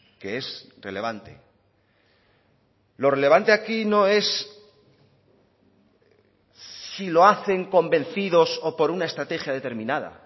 que es relevante lo relevante aquí no es si lo hacen convencidos o por una estrategia determinada